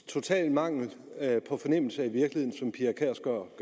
total mangel på fornemmelse